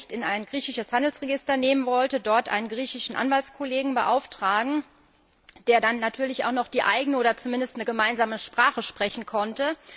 Einsicht in ein griechisches Handelsregister nehmen wollte, einen griechischen Anwaltskollegen beauftragen, der dann natürlich auch noch die eigene oder zumindest eine gemeinsame Sprache sprechen musste.